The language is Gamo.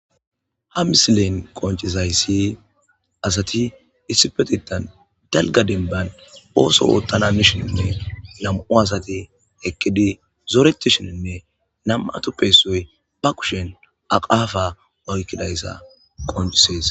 Ha misilen qoncizaysi asati issipetetan dalga dembani ooso oothana hanishininne nam'u asati eqidi zoretishininne nam'atuppe issoy be kushen aqapa oykidaysa qoncisesi.